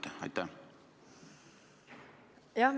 Kas mõistate?